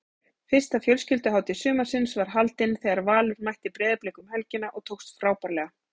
Fyrsta fjölskylduhátíð sumarsins var haldin þegar Valur mætti Breiðablik um helgina og tókst frábærlega.